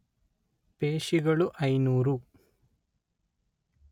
ಪೇಶಿಗಳು ಐನೂರು